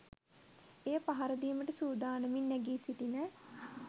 එය පහරදීමට සූදානමින් නැගී සිටින